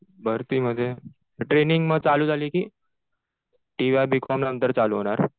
भरतीमध्ये. मग ट्रेनिंग चालू झाली कि टि वाय बी कॉम नंतर चालू होणार?